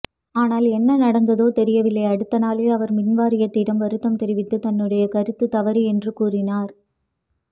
ஆனால் என்ன நடந்ததோ தெரியவில்லை அடுத்த நாளே அவர் மின்வாரியத்திடம் வருத்தம் தெரிவித்து தன்னுடைய கருத்து தவறு என்று கூறினார்